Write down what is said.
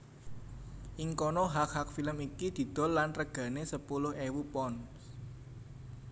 Ing kono hak hak film iki didol lan regané sepuluh ewu pounds